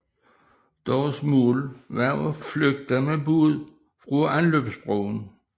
Deres mål var at flygte med båd fra anløbsbroen